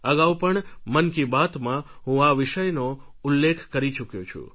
અગાઉ પણ મન કી બાતમાં હું આ વિષયનો ઉલ્લેખ કરી ચૂક્યો છું